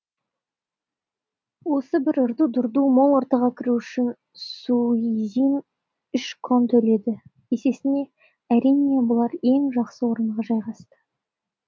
осы бір ырду дырдуы мол ортаға кіру үшін суизин үш крон төледі есесіне әрине бұлар ең жақсы орынға жайғасты